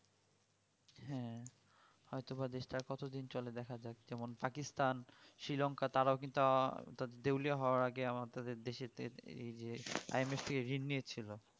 হম হয়তো বা দেশ তা আর কতদিন চলে দেখা যাক যেমন pakistan sri lanka তারাও কিন্তু দেওলিয়া হওয়ার আগে আমাদের দেশে তে এই যে ঋণ নিয়েছিল